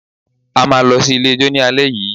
A máa lọ sí ilé ijó ní alẹ́ yìí